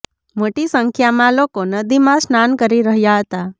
મોટી સંખ્યામાં લોકો નદીમાં સ્નાન કરી રહ્યા હતા